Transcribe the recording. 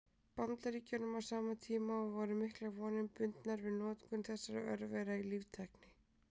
Bandaríkjunum á sama tíma, og voru miklar vonir bundnar við notkun þessara örvera í líftækni.